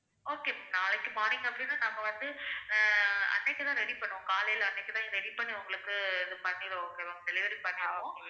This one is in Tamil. okay ma'am நாளைக்கு morning அப்படின்னா நாங்க வந்து ஆஹ் அன்னைக்குதான் ready பண்ணுவோம் காலையில அன்னைக்குதான் ready பண்ணி உங்களுக்கு பண்ணிருவோம் okay வா delivery பண்ணிருவோம்